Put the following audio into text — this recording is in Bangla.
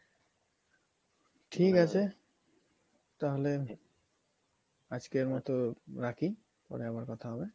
ঠিকাছে তাহলে আজকের মতো রাখি পরে আবার কথা হবে।